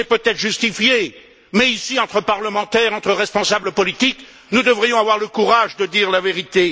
C'est peut être justifié, mais ici, entre parlementaires, entre responsables politiques, nous devrions avoir le courage de dire la vérité.